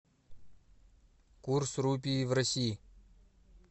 курс рупии в россии